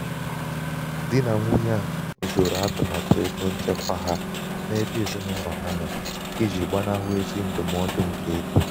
dị nà nwunye a zoro atụmatụ égo nchekwa ha n'ebe ezinaụlọ ha nọ i ji gbanahụ ezi ndụmọdụ nke égo.